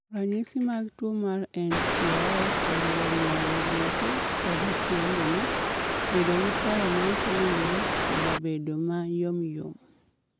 Ranyisi mag tuwo mar nTOS oriwo ng'ol e goke koda tiendene, bedo gi paro maok owinjore, koda bedo ma yomyom.